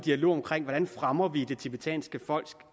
dialog omkring hvordan vi fremmer det tibetanske folks